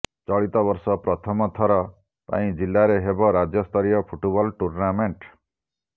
ଚଳିତ ବର୍ଷ ପ୍ରଥମ ଥର ପାଇଁ ଜିଲ୍ଲାରେ ହେବ ରାଜ୍ୟ ସ୍ତରୀୟ ଫୁଟବଲ ଟୁର୍ଣ୍ଣାମେଣ୍ଟ